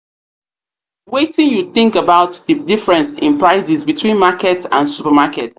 wetin you think about di difference in prices between market and supermarket?